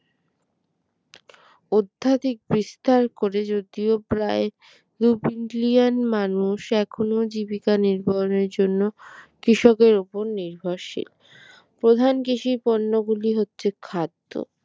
অধ্যাত্মিক বিস্তার করে যদিও প্রায় billion মানুষ এখনও জীবিকা নির্ভর এর জন্য কৃষকের ওপর নির্ভরশীল প্রধান কৃষি পণ্য গুলি হচ্ছে খাদ্য